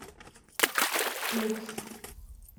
люкс